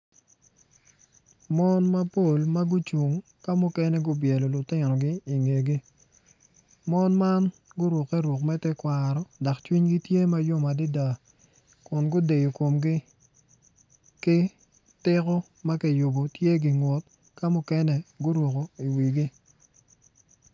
Mon mapol ma gucung ki mukene gitye gubyelo lutinogi i ngegi mon man gurukke ruk me tekwaro dok cwinygi tye ma yom adada kun gudeyo komgi ki tiko ma kiyubo tye gingut.